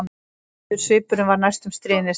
Blíður svipurinn var næstum stríðnislegur.